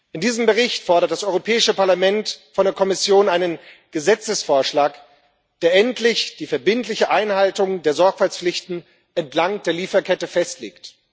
In diesem Bericht fordert das Europäische Parlament von der Kommission einen Gesetzesvorschlag, der endlich die verbindliche Einhaltung der Sorgfaltspflichten entlang der Lieferkette festlegt.